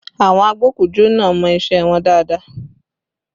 Àwọn agbokujo náà mọ isẹ wọn dáadáa